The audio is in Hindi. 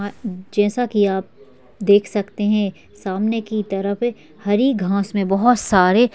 जैसा की आप देख सकते है सामने की तरफ हरी घाँस मैं बहुत सारे--